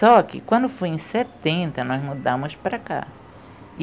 só que quando foi em setenta, nós mudamos para cá.